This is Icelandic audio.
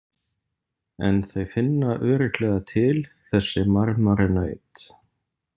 En þau finna örugglega til, þessi marmaranaut.